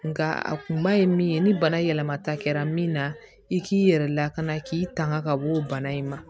Nka a kun ma ye min ye ni bana yɛlɛmata kɛra min na i k'i yɛrɛ lakana k'i tanga ka bɔ o bana in ma